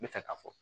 N bɛ fɛ ka fɔ